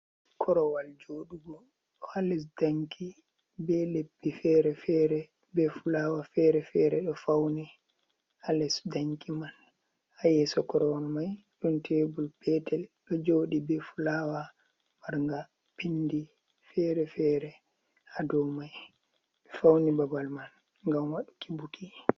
Korowal joɗugo ɗo ha les danki be leppi fere-fere, be fulawa fere-fere ɗo fauni ha les danki man, ha yeso korowal mai ɗon tebol petel ɗo joɗi be fulawa marnga pindi fere-fere ha dou mai, ɓe fauni babal man ngam waɗuki buki.